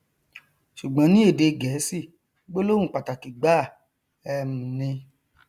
ṣùgbọn ní èdè gẹẹsì gbólóhùn pàtàkì gbáà um ni